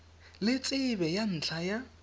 le tsebe ya ntlha ya